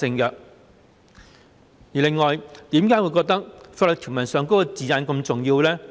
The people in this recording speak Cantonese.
此外，為何我覺得法律條文的字眼是如此重要呢？